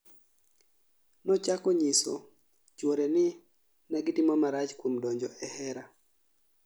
Nochako nyiso chwore ni negitimo marach kuom donjo e hera